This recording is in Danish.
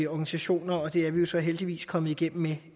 organisationer og det er vi jo så heldigvis kommet igennem med